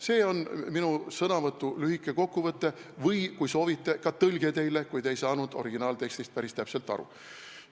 See on minu sõnavõtu lühike kokkuvõte või kui soovite, siis ka tõlge teile, kui te ei saanud originaaltekstist päris täpselt aru.